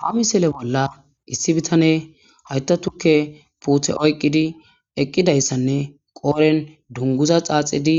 Ha missile bola issi bitaney hayta tuke pute oyqidi eqidaysanne qoren dunguza dhadhidi